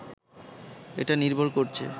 এটা নির্ভর করছে